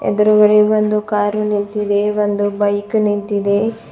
ಇದರ ಬಳಿ ಒಂದು ಕಾರ್ ನಿಂತಿದೆ ಬೈಕ್ ನಿಂತಿದೆ.